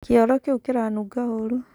Kĩoro kĩu kĩranunga ũru.